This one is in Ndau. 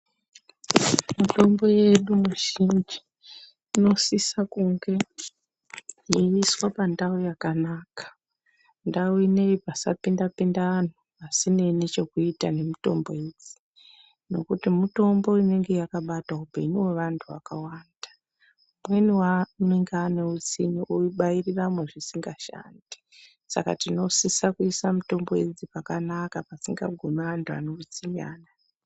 Mitombo yedu mwizhinji inosise kunge mundau yeimiswa pandau yakanaka ndau inei pasapinda pinda anhu asineyi ngechekuita ngemitombo idzi nokuti mutombo inenge yakabata upenyu hwevantu hwakawanda. Umweni anenge ane utsimwe obairiramo zvisingashandi saka tinosisa kuisa mitombo idzi pakanaka pasingagumi antu ane utsinye.